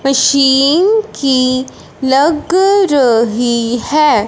Machine की लग रही है।